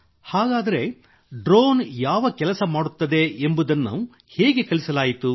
ಹಾಗಾದರೆ ಡ್ರೋನ್ ಯಾವ ಕೆಲಸ ಮಾಡುತ್ತದೆ ಎಂಬುದನ್ನು ಹೇಗೆ ಕಲಿಸಲಾಯಿತು